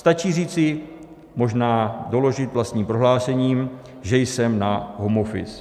Stačí říci, možná doložit vlastním prohlášením, že jsem na home office.